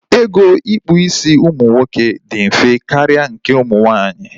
Ego ịkpụ isi ụmụ nwoke dị mfe karịa nke ụmụ nwaanyị